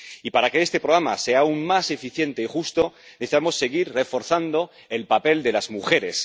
Y para que este programa sea aún más eficiente y justo, necesitamos seguir reforzando el papel de las mujeres.